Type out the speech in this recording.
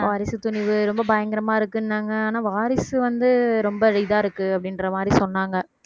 வாரிசு, துணிவு ரொம்ப பயங்கரமா இருக்குன்னாங்க ஆனா வாரிசு வந்து ரொம்ப இதா இருக்கு அப்படின்ற மாதிரி சொன்னாங்க